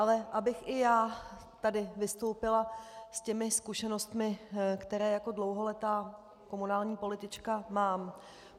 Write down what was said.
Ale abych i já tady vystoupila s těmi zkušenostmi, které jako dlouholetá komunální politička mám.